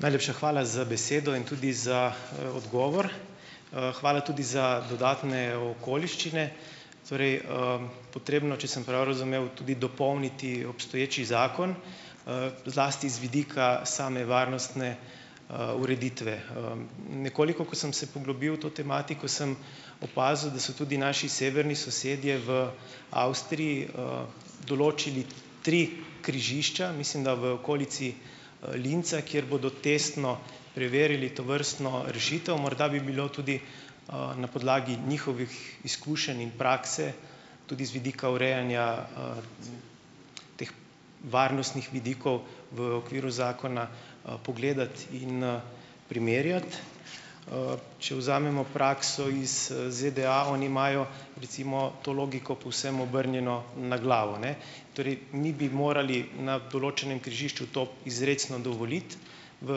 Najlepša hvala za besedo in tudi za, odgovor. Hvala tudi za dodatne okoliščine. Torej, potrebno, če sem prav razumel tudi dopolniti obstoječi zakon, zlasti z vidika same varnostne, ureditve. Nekoliko, ko sem se poglobil v to tematiko, sem opazil, da so tudi naši severni sosedje v Avstriji, določili tri križišča. Mislim, da v okolici, Linza, kjer bodo testno preverili tovrstno rešitev. Morda bi bilo tudi, na podlagi njihovih izkušenj in prakse, tudi z vidika urejanja, teh varnostnih vidikov v okviru zakona, pogledati in, primerjati. Če vzamemo prakso iz, ZDA oni imajo recimo to logiko povsem obrnjeno na glavo, ne. Torej mi bi morali na določenem križišču to izrecno dovoliti, v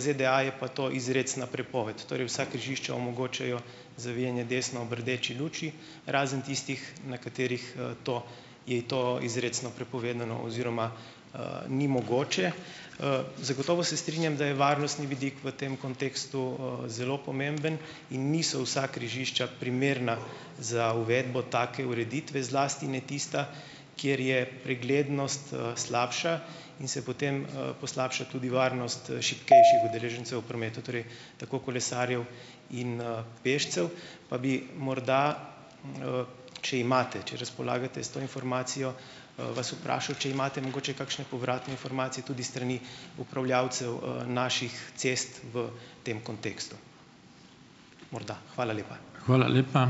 ZDA je pa to izrecna prepoved. Torej vsa križišča omogočajo zavijanje desno ob rdeči luči, razen tistih, na katerih, to je to izrecno prepovedano oziroma, ni mogoče. Zagotovo se strinjam, da je varnostni vidik v tem kontekstu, zelo pomemben in niso vsa križišča primerna za uvedbo take ureditve, zlasti ne tista, kjer je preglednost, slabša in se potem, poslabša tudi varnost, šibkejših udeležencev v prometu, torej tako kolesarjev in, pešcev. Pa bi morda, če imate, če razpolagate s to informacijo, vas vprašal, če imate mogoče kakšne povratne informacije tudi s strani upravljavcev, naših cest v tem kontekstu? Morda, hvala lepa.